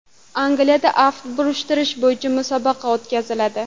Angliyada aft burishtirish bo‘yicha musobaqa o‘tkaziladi.